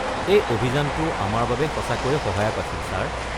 এই অভিযানটো আমাৰ বাবে সঁচাকৈয়ে সহায়ক আছিল, ছাৰ।